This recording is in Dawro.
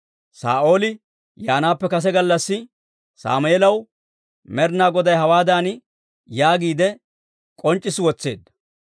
Saa'ooli yaanaappe kase gallassi, Sammeelaw Med'inaa Goday hawaadan yaagiide k'onc'c'issi wotseedda;